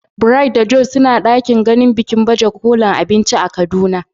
Bright da Joy suna ɗokin ganin bikin baje kolin abinci a Kaduna.